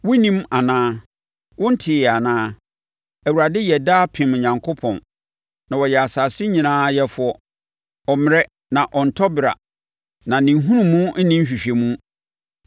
Wonnim anaa? Wonteeɛ anaa? Awurade yɛ daapem Onyankopɔn, na ɔyɛ asase nyinaa yɛfoɔ. Ɔremmrɛ na ɔrentɔ bera, na ne nhunumu nni nhwehwɛmu.